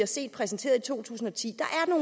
så præsenteret i to tusind og ti